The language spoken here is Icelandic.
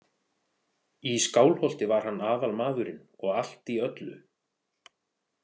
Í Skálholti var hann aðalmaðurinn og allt í öllu.